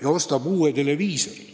" Ja ostab hoopis uue televiisori.